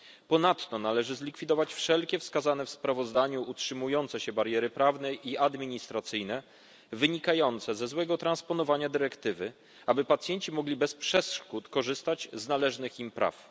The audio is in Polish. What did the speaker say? Ponadto należy zlikwidować wszelkie wskazane w sprawozdaniu utrzymujące się bariery prawne i administracyjne wynikające ze złego transponowania dyrektywy, aby pacjenci mogli bez przeszkód korzystać z należnych im praw.